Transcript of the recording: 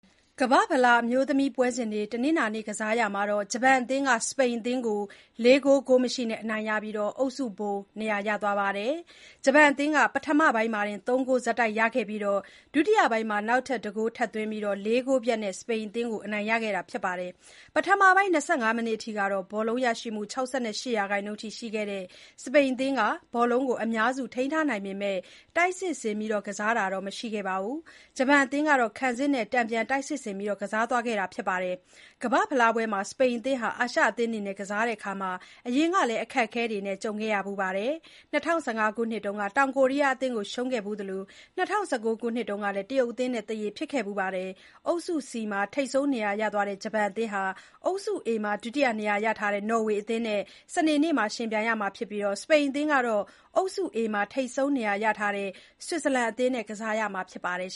ကမ္ဘာ့ဖလား အမျိုးသမီးပွဲစဉ်တွေ တနင်္လာနေ့က ကစားရာမှာ ဂျပန်အသင်းက စပိန်အသင်းကို ၄ ဂိုး၊ ဂိုးမရှိနဲ့ အနိုင်ရပြီး အုပ်စုဗိုလ်နေရာ ရသွားပါတယ်။ ဂျပန်အသင်းက ပထမပိုင်းမှာတင် ၃ ဂိုး ဆက်တိုက် ရခဲ့ပြီး ဒုတိယပိုင်းမှာ နောက်ထပ် ၁ ဂိုး ထပ်သွင်းခဲ့ပြီး ၄ ဂိုးပြတ်နဲ့ စပိန်အသင်းကို အနိုင်ရခဲ့တာပါ။ ပထမပိုင်း ၂၅ မိနစ်အထိ ဘောလုံးရရှိမှု ၆၈ ရာခိုင်နှုန်းအထိ ရှိခဲ့တဲ့ စပိန်အသင်းက ဘောလုံးကို အများစု ထိန်းထားနိုင်ပေမဲ့ တိုက်စစ်ဆင် ကစားတာတော့ မရှိခဲ့ပါဘူး။ ဂျပန်အသင်းကတော့ ခံစစ်နဲ့ တန်ပြန်တိုက်စစ်ဆင် ကစားသွားခဲ့တာပါ။ ကမ္ဘာ့ဖလားပွဲတွေမှာ စပိန်အသင်းဟာ အာရှအသင်းတွေနဲ့ ကစားရာမှာ အရင်ကလည်း အခက်အခဲတွေနဲ့ ကြုံခဲ့ရဘူးပါတယ်။ ၂၀၁၅ ခုနှစ်တုန်းက တောင်ကိုရီးယားအသင်းကို ရှုံးခဲ့ဖူးသလို၊ ၂၀၁၉ ခုနှစ်ကလည်း တရုတ်အသင်းနဲ့ သရေဖြစ်ခဲ့ဖူးပါတယ်။ အုပ်စု C မှာ ထိပ်ဆုံးနေရာရသွားတဲ့ ဂျပန်အသင်းဟာ အုပ်စု A မှာ ဒုတိယနေရာ ရထားတဲ့ နော်ဝေအသင်းနဲ့ စနေနေ့မှာ ယှဉ်ပြိုင်ရမှာဖြစ်ပြီး စပိန်အသင်းကတော့ အုပ်စု A မှာ ထိပ်ဆုံးနေရာရထားတဲ့ ဆွစ်ဇာလန်အသင်းနဲ့ ကစားရမှာဖြစ်ပါတယ်